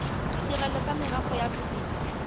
ditirelo tsa merafe ya bodit